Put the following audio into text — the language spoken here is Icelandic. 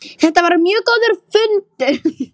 Þetta var mjög góður fundur.